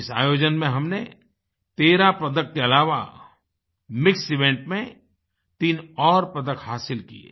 इस आयोजन में हमने 13 पदक के अलावा मिक्स इवेंट में 3 और पदक हासिल किये